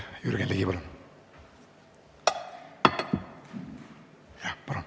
Jürgen Ligi, palun!